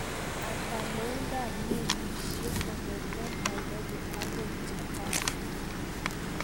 Ata loindap mailisiek kong'eten Nairobi agoi Japan